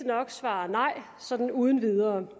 nok svare nej her sådan uden videre